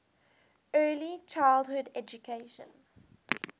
early childhood education